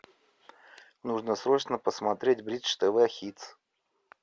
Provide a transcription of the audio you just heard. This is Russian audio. нужно срочно посмотреть бридж тв хитс